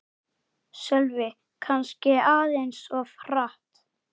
Sölvi: Kannski aðeins of hratt